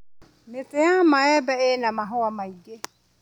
Mĩtĩ ya maembe ĩna mahũa maingĩ.